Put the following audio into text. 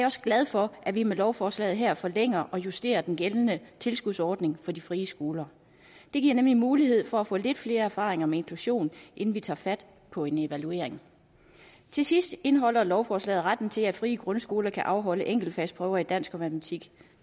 også glad for at vi med lovforslaget her forlænger og justerer den gældende tilskudsordning for de frie skoler det giver nemlig mulighed for at få lidt flere erfaringer med inklusion inden vi tager fat på en evaluering til sidst indeholder lovforslaget retten til at frie grundskoler kan afholde enkeltfagsprøver i dansk og matematik